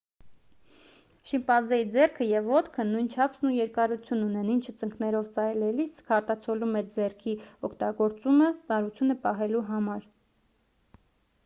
շիմպանզեի ձեռքը և ոտքը նույն չափսն ու երկարությունն ունեն ինչը ծնկներով քայլելիս արտացոլում է ձեռքի օգտագործումը ծանրությունը պահելու համար